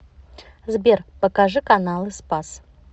сбер покажи каналы спас